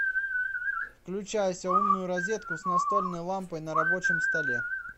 включайся умную розетку с настольной лампой на рабочем столе